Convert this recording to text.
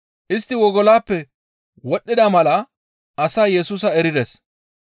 Istti wogoloppe wodhdhida mala asay Yesusa erides.